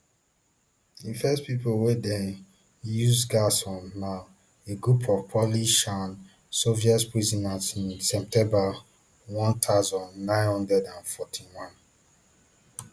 di first pipo wey dem use gas on na a group of polish and soviet prisoners in september one thousand, nine hundred and forty-one